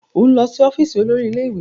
O n lọ si ọfiisi olori ile-iwe!